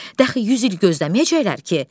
Dəxi yüz il gözləməyəcəklər ki.